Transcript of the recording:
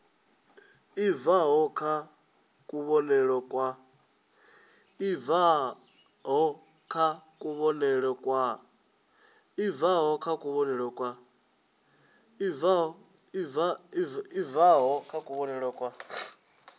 i bvaho kha kuvhonele kwa